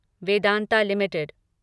Vedanta limited